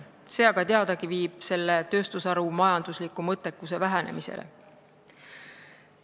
See aga viib teadagi selle tööstusharu majandusliku mõttekuse vähenemisele.